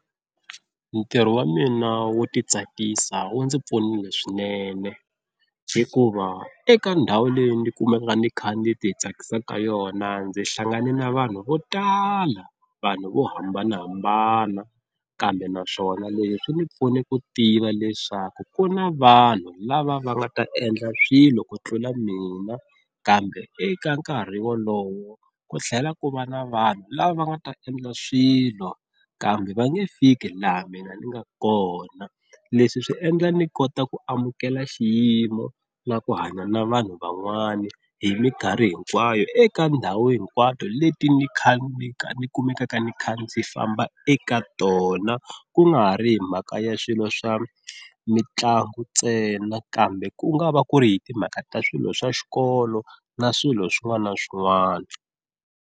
Ntirho wa mina wo ti tsakisa wu ndzi pfunile swinene, hikuva eka ndhawu leyi ni kumaka ni kha ni ti tsakisa ka yona ndzi hlangane na vanhu vo tala vanhu vo hambanahambana kambe naswona leswi swi ndzi pfune ku tiva leswaku ku na vanhu lava va nga ta endla swilo ku tlula mina. Kambe eka nkarhi wolowo ku tlhela ku va na vanhu lava va nga ta endla swilo kambe va nge fiki laha mina ni nga kona. Leswi swi endla ni kota ku amukela xiyimo na ku hanya na vanhu van'wana hi minkarhi hinkwayo eka ndhawu hinkwato leti ni kha ni kha ni kumekaka ni kha ndzi famba eka tona ku nga ha ri hi mhaka ya swilo swa mitlangu ntsena kambe ku nga va ku ri hi timhaka ta swilo swa xikolo na swilo swin'wana na swin'wana.